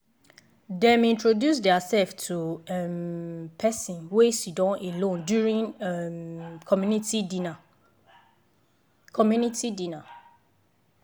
dem introduce their self to um person wey siddon alone during um community dinner. community dinner.